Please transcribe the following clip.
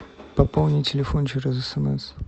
пополни телефон через смс